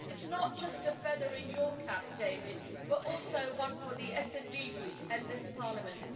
It's not just a feather in your cap, David, but also one for the SD Group and this Parliament.